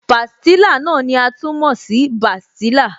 Pastilla náà ni a tún mọ̀ sí bastilla